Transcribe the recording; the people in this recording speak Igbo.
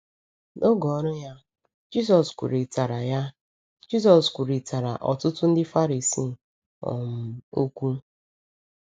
N’oge ọrụ ya, Jisọs kwurịtara ya, Jisọs kwurịtara ọtụtụ Ndị Farisii um okwu.